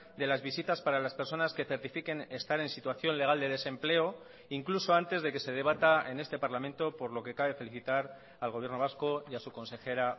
de las visitas para las personas que certifiquen estar en situación legal de desempleo incluso antes de que se debata en este parlamento por lo que cabe felicitar al gobierno vasco y a su consejera